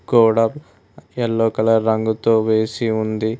గోడ yellow colour రంగుతో వేసి ఉంది.